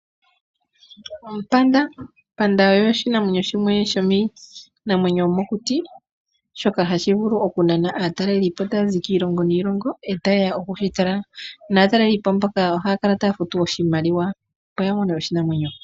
Ompanda, ompanda oyo oshinamwenyo shimwe shomiinamwenyo yomokuti, shoka ha shi vuku oku nana aatalelipo taa zi kiilongo niilongo, e ta ye ya oku shi tala, naataleli po mboka ohaa kala taa futu oshimaliwa, opo ya tale oshinamwenyo.